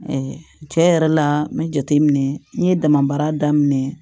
cɛ yɛrɛ la n bɛ jate minɛ n ye dama baara daminɛ